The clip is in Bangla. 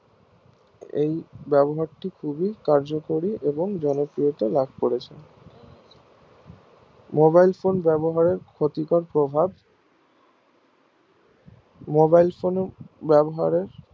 এই ব্যবহার টি খুবই কার্যকরী এবং জনপ্রিয়তা লাভ করেছে mobile phone ব্যবহারের ক্ষতিকর প্রভাব mobile phone এর ব্যাবহারে